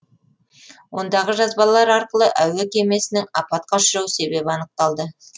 ондағы жазбалар арқылы әуе кемесінің апатқа ұшырау себебі анықталды